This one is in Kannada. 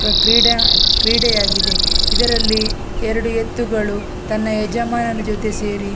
ಕ ಕ್ರೀಡಾ ಕ್ರೀಡೆಯಾಗಿದೆ ಇದರಲ್ಲಿ ಎರಡು ಎತ್ತುಗಳು ತನ್ನ ಯಜಮಾನನ ಜೊತೆ ಸೇರಿ --